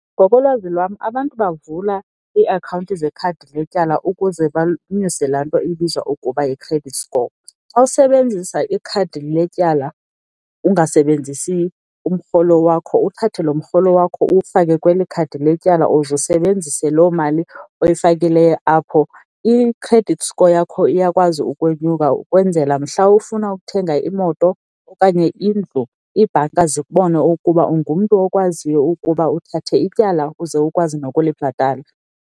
Ngokolwazi lwam, abantu bavula iiakhawunti zekhadi letyala ukuze banyuse laa nto ibizwa ukuba yi-credit score. Xa usebenzisa ikhadi letyala ungasebenzisi umrholo wakho, uthathe loo mrholo wakho uwufake kweli khadi letyala uze usebenzise loo mali oyifakileyo apho, i-credit score yakho iyakwazi ukwenyuka ukwenzela mhla ufuna ukuthenga imoto okanye indlu, iibhanka zikubone ukuba ungumntu okwaziyo ukuba uthathe ityala uze ukwazi nokulibhatala.